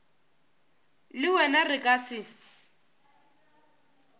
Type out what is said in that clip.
le wena re ka se